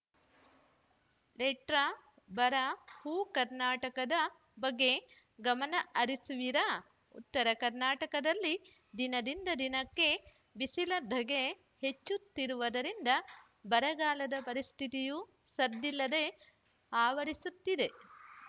letter ಬರ ಉಕರ್ನಾಟಕದ ಬಗ್ಗೆ ಗಮನ ಹರಿಸುವಿರಾ ಉತ್ತರ ಕರ್ನಾಟಕದಲ್ಲಿ ದಿನದಿಂದ ದಿನಕ್ಕೆ ಬಿಸಿಲ ಧಗೆ ಹೆಚ್ಚುತ್ತಿರುವುದರಿಂದ ಬರಗಾಲದ ಪರಿಸ್ಥಿತಿಯು ಸದ್ದಿಲ್ಲದೆ ಆವರಿಸುತ್ತಿದೆ